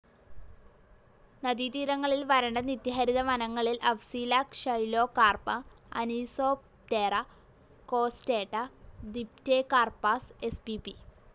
നദീതീരങ്ങളിൽ വരണ്ട നിത്യഹരിത വനങ്ങളിൽ Afzelia xylocarpa, Anisoptera costata, Dipterocarpus spp.